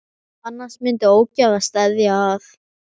Annars myndi ógæfa steðja að.